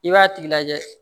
I b'a tigi lajɛ